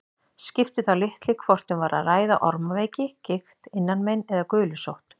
Skipti þá litlu hvort um var að ræða ormaveiki, gigt, innanmein eða gulusótt.